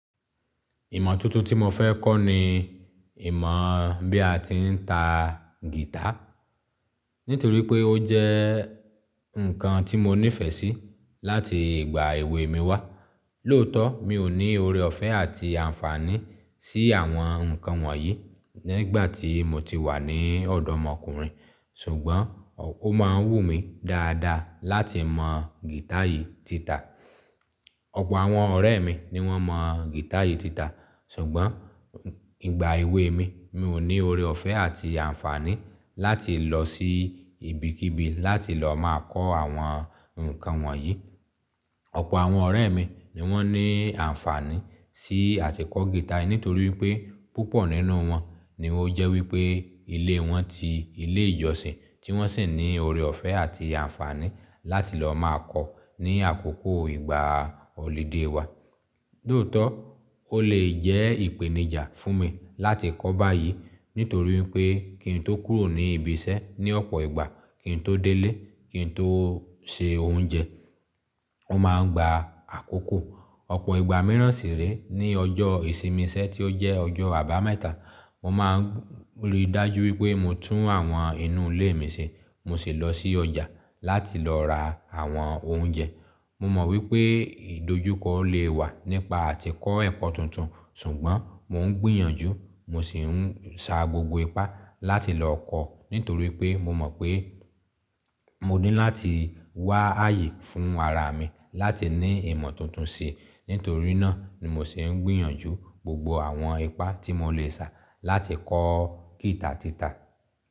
Ìmọ̀ tuntun tí mo fẹ́ kọ́ ni ìmọ̀ bí a ti ń ta guitar. Nítorí pé ó jẹ́ nǹkan tí mo nífẹ̀ẹ́ sí láti ìgbà èwe mi wá. Lóòótọ́, mi ò ní ore ọ̀fẹ́ àti àǹfààní sí àwọn nǹkan wọ̀nyí nígbà tí mo ti wà ní ọ̀dọ̀ ọmọkùnrin. Ṣùgbọ́n ó máa ń wù mí dáadáa láti mọ guitar yìí títà. Ọ̀pọ̀ àwọn ọ̀rẹ́ mi ni wọ́n mọ guitar yìí títà. Ṣùgbọ́n ìgbà èwe mi, mi ò ní ore ọ̀fẹ́ àti àǹfààní láti lọ sí ibikíbi láti lọ máa kọ́ àwọn nǹkan wọ̀nyí. Ọ̀pọ̀ àwọn ọ̀rẹ́ mi ni wọ́n ní àǹfààní sí àtìkọ́ guitar, nítorí pé púpọ̀ nínú wọn ni ó jẹ́ wípé ilé wọn ti ilé ìjọsìn tí wọ́n sì ní ore ọ̀fẹ́ àti àǹfààní láti lọ máa kọ̀ ní àkókò ìgbà holiday wa. Lóòótọ́, ó lè jẹ́ ìpèníjà fún mi láti kọ́ báyìí. Nítorí pé kí n tó kúrò ní ibi iṣẹ́ ní ọ̀pọ̀ ìgbà, kí n tó délé, kí n tó se oúnjẹ, mo máa ń gba àkókò ọ̀pọ̀ ìgbà míràn sì rèé ní ọjọ́ ìsinmi iṣẹ́ tí ó jẹ́ ọjọ́ àbámẹ́ta. Mo máa ń rí dájú wípé mo tún àwọn inú ilé mi ṣe, mo sì lọ sí ọjà láti lọ ra àwọn oúnjẹ. Mo mọ̀ wípé ìdojúkọ le wà nípa àtìkọ́ ẹ̀kọ́ tuntun, ṣùgbọ́n mo ń gbìyànjú, mo sì ń sa gbogbo ipá láti lọ kọ́. Nítorí pé mo mọ̀ pé mo ní láti wá ààyè fún ara mi láti ní ìmọ̀ tuntun sí i. Nítorí náà ni mo sì ń gbìyànjú gbogbo àwọn ipá tí mo lè sá láti kọ́ guitar títà.